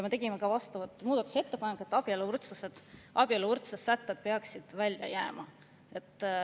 Me tegime muudatusettepaneku, et abieluvõrdsuse sätted peaksid välja jääma.